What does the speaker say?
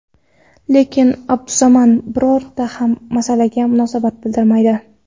Lekin Ombudsman birorta ham masalaga munosabat bildirmaydi.